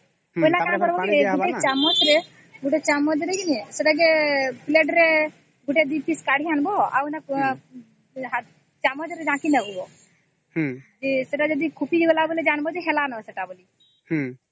ତାପରେ କଷିଦେବା କାସିହେଇଗଲା ପରେ ଗୋତ୍ର ଚାମଚ ରେ ଆଣିକି ଦେଖୁବ ହେଇଚି କି ନାହିଁ